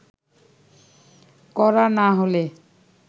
করা না হলে